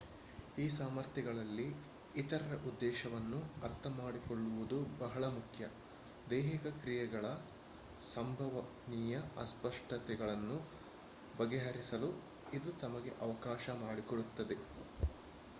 ಈ ಸಾಮರ್ಥ್ಯಗಳಲ್ಲಿ ಇತರರ ಉದ್ದೇಶವನ್ನು ಅರ್ಥಮಾಡಿಕೊಳ್ಳುವುದು ಬಹಳ ಮುಖ್ಯ ದೈಹಿಕ ಕ್ರಿಯೆಗಳ ಸಂಭವನೀಯ ಅಸ್ಪಷ್ಟತೆಗಳನ್ನು ಬಗೆಹರಿಸಲು ಇದು ನಮಗೆ ಅವಕಾಶ ಮಾಡಿಕೊಡುತ್ತದೆ